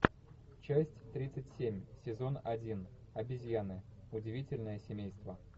часть тридцать семь сезон один обезьяны удивительное семейство